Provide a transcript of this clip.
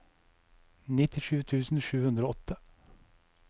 nittisju tusen sju hundre og åtte